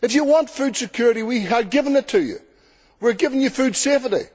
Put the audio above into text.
if you want food security, we are giving it to you we are giving you food safety.